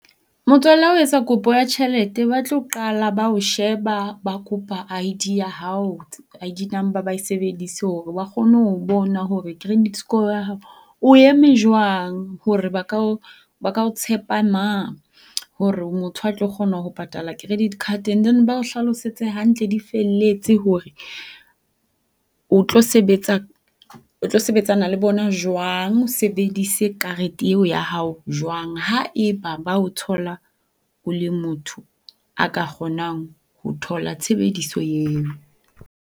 Motswalle ha o etsa kopo ya tjhelete ba tlo qala ba o sheba ba kopa I_D ya hao, I_D number ba e sebedise hore ba kgone ho o bona hore credit score ya hao o eme jwang. Hore ba ka o ba ka o tshepa na. Hore o motho ya tlo kgona ho patala credit card. And then ba o hlalosetse hantle di felletse hore o tlo sebetsa o tlo sebetsana le bona jwang. O sebedise karete eo ya hao jwang haeba ba o thola o le motho a ka kgonang ho thola tshebediso eo.